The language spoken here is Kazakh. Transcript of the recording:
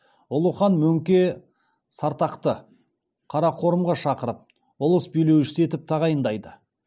ұлы хан мөңке сартақты қарақорымға шақыртып ұлыс билеушісі етіп тағайындайды